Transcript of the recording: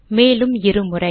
மேலும் இரு முறை